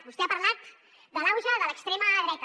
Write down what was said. vostè ha parlat de l’auge de l’extrema dreta